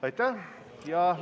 Aitäh!